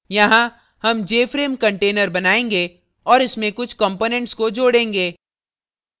यहाँ हम jframe container बनायेंगे और इसमें कुछ components को जोड़ेंगे